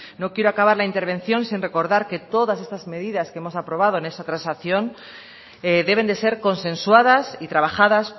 no quiero acabar la intervención sin recordar que todas estas medidas que hemos aprobado en esa transacción deben de ser consensuadas y trabajadas